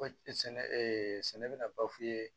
sɛnɛ sɛnɛ bɛ na bafu ye